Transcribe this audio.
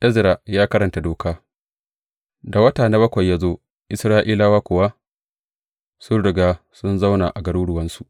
Ezra ya karanta Doka Da wata na bakwai ya zo, Isra’ilawa kuwa sun riga sun zauna a garuruwansu,